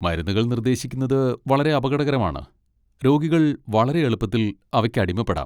മരുന്നുകൾ നിർദ്ദേശിക്കുന്നത് വളരെ അപകടകരമാണ്, രോഗികൾ വളരെ എളുപ്പത്തിൽ അവയ്ക്ക് അടിമപ്പെടാം.